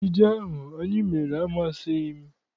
Ejije ahụ anyị mere amasịghị m.